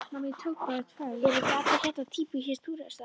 Eru ekki allir hérna týpískir túrhestar?